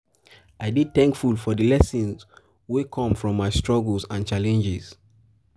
i dey thankful for the lessons wey the lessons wey come from my struggles and challenges.